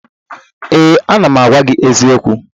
Ee, ana m agwa gị eziokwu